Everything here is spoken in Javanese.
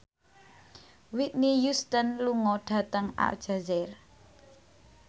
Whitney Houston lunga dhateng Aljazair